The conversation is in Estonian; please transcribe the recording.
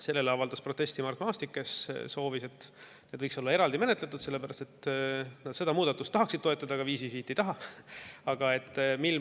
Selle kohta avaldas protesti Mart Maastik, kes soovis, et neid menetletaks eraldi, sellepärast et nad seda muudatust tahaksid toetada, aga 555 ei taha.